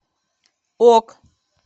ок